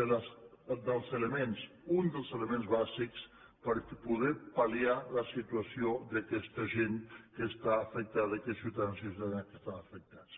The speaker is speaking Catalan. dels elements bàsics per poder pal·liar la situació d’aquesta gent que està afectada d’aquests ciutadans i ciutadanes que estan afectats